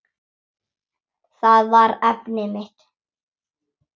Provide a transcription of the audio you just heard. Það var efnið mitt.